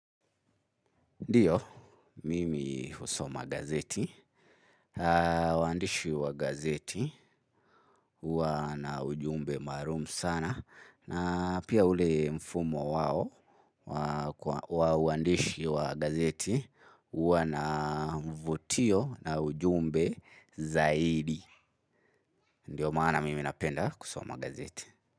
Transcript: Ndiyo, mimi husoma gazeti, uandishi wa gazeti, uanaujumbe marumu sana, na pia ule mfumo wao, uandishi wa gazeti, uanavutio na ujumbe zaidi. Ndiyo maana mimi napenda husoma gazeti.